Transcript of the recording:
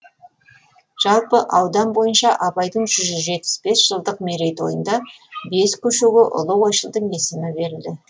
жалпы аудан бойынша абайдың жүз жетпіс бес жылдық мерейтойында бес көшеге ұлы ойшылдың есімі берілді